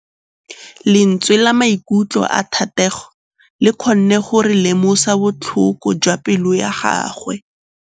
Lentswe la maikutlo a Thategô le kgonne gore re lemosa botlhoko jwa pelô ya gagwe.